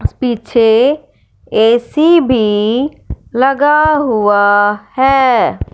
पीछे ए_सी भी लगा हुआ है।